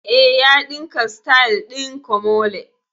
Eh, ya ɗinka sityl ɗin komole